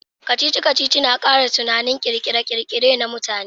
Kacici-kacici na kara tunanin kirkire-kirkire na mutane.